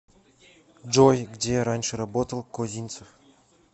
джой где раньше работал козинцев